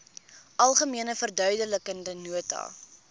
algemene verduidelikende nota